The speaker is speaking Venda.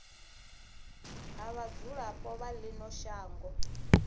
ha vhadzulapo vha ino shango